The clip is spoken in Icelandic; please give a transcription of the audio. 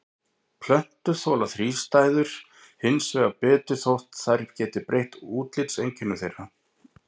Plöntur þola þrístæður hins vegar betur þótt þær geti breytt útlitseinkennum þeirra.